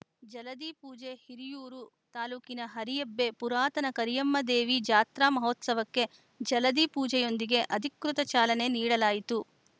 ಜಲಧಿ ಪೂಜೆ ಹಿರಿಯೂರು ತಾಲೂಕಿನ ಹರಿಯಬ್ಬೆ ಪುರಾತನ ಕರಿಯಮ್ಮದೇವಿ ಜಾತ್ರಾ ಮಹೋತ್ಸವಕ್ಕೆ ಜಲಧಿ ಪೂಜೆಯೊಂದಿಗೆ ಅಧಿಕೃತ ಚಾಲನೆ ನೀಡಲಾಯಿತು